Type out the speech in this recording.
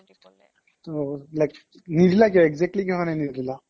টৌ like নিদিলা কিয় exactly কিহৰ কাৰণে নিদিলা ?